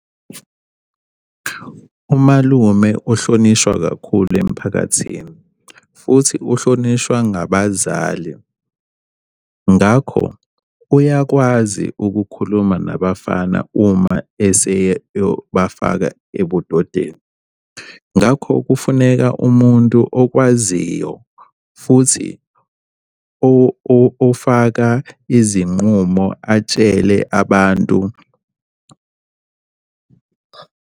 Umalume ohlonishwa kakhulu emphakathini futhi uhlonishwa ngabazali. Ngakho uyakwazi ukukhuluma nabafana uma eseyeyobafaka ebudodeni. Ngakho kufuneka umuntu okwaziyo futhi ofaka izinqumo atshele abantu.